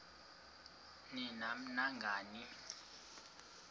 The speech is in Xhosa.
ni nam nangani